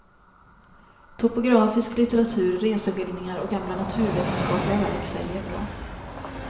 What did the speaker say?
Topografisk litteratur, reseskildringar och gamla naturvetenskapliga verk säljer bra.